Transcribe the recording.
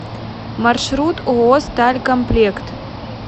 маршрут ооо сталь комплект